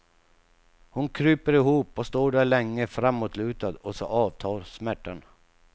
Hon kryper ihop och står där länge framåtlutad, och så avtar smärtan.